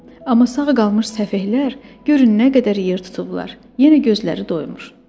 Amma sağ qalmış səfehlər görün nə qədər yer tutublar, yenə də gözləri doymur.